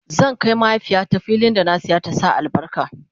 zan Kai mahaifiyata fillin da na saya ta Sa albarka